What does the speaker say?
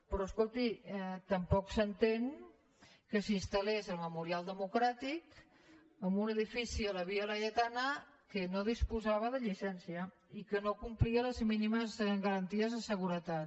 però escolti tampoc s’entén que s’instal·rial democràtic en un edifici a la via laietana que no disposava de llicència i que no complia les mínimes garanties de seguretat